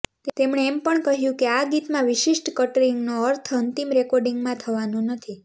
તેમણે એમ પણ કહ્યું છે કે આ ગીતમાં વિશિષ્ટ કટ્ટરિંગનો અર્થ અંતિમ રેકોર્ડીંગમાં થવાનો નથી